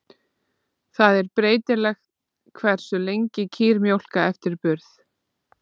Það er breytilegt hversu lengi kýr mjólka eftir burð.